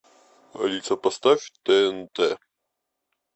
алиса поставь тнт